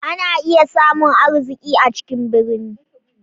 Ana iya samun arziki a cikin birni.